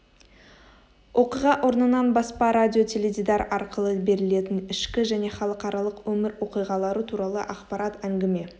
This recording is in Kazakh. оқиға орнынан баспа радио теледидар арқылы берілетін ішкі және халықаралық өмір оқиғалары туралы ақпарат әңгіме